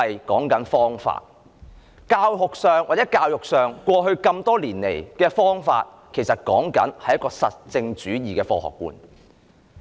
無論在教學上或教育上，過去多年奉行的方法，其實是實證主義的科學觀。